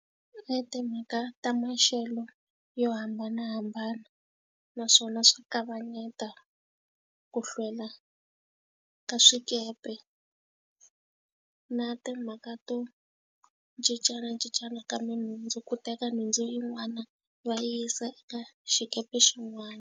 I timhaka ta maxelo yo hambanahambana naswona swa kavanyeta ku hlwela ka swikepe na timhaka to cincanacincana ka tinhundzu, ku teka nhundzu yin'wana va yisa eka xikepe xin'wana.